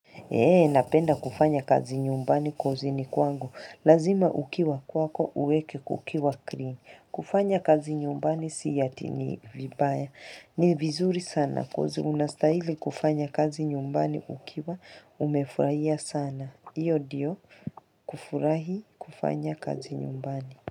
Eee, napenda kufanya kazi nyumbani ni kwangu. Lazima ukiwa kwako uweke kukiwa clean. Kufanya kazi nyumbani si ati ni vibaya. Ni vizuri sana unastahili kufanya kazi nyumbani ukiwa umefurahia sana. Hiyo ndiyo kufurahi kufanya kazi nyumbani.